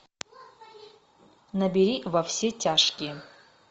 набери во все тяжкие